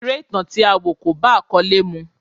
Eré ìtàn tí a wọ̀ kò bá àkọ́lé mu.